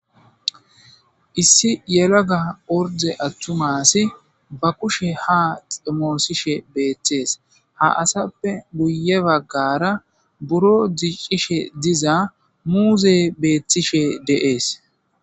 Issi yelaga orde atuma assiy ba kusheha xomosishe betes, ha asappe guye bagara buro dicishe diza muuzey betishe de'es.